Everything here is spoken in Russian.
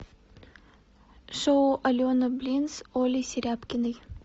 шоу алены блин с олей серябкиной